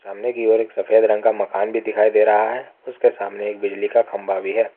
सामने की ओर एक सफेद रंग का मकान भी दिखाई दे रहा है उसके सामने एक बिजली का खंभा भी है।